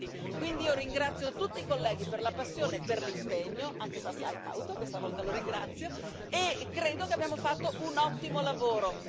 120. Io ringrazio tutti i colleghi per la passione e per l'impegno, anche Bas Eickhout, questa volta lo ringrazio, e credo che abbiamo fatto un ottimo lavoro.